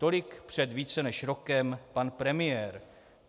Tolik před více než rokem pan premiér.